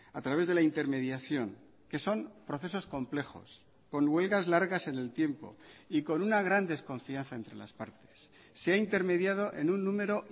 a través de la intermediación que son procesos complejos con huelgas largas en el tiempo y con una gran desconfianza entre las partes se ha intermediado en un número